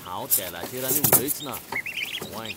हांव तेलाचेर आनी उलयचना, आंवंय!